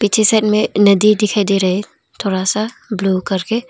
नीचे साइड में नदी दिखाई दे रहे है थोड़ा सा ब्लू करके।